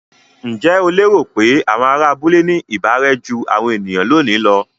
Ǹjẹ́ o lérò pé àwọn ará abúlé ní ìbárẹ́ jú àwọn ènìyàn lónìí lọ?